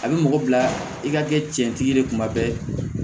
A bɛ mɔgɔ bila i ka kɛ cɛntigi de ye kuma bɛɛ